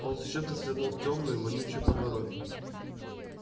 он зачем-то свернул в тёмную вонючую подворотню